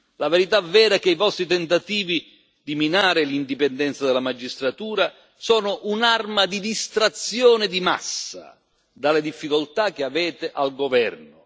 La verità vera è che i vostri tentativi di minare l'indipendenza della magistratura sono un'arma di distrazione di massa dalle difficoltà che avete al governo.